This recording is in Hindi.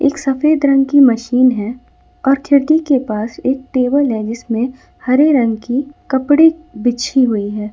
सफेद रंग की मशीन है और खिड़की के पास एक टेबल है जिसमें हरे रंग की कपड़े बिछी हुई है ।